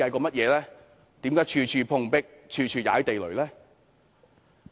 為何處處碰壁，處處"踩地雷"呢？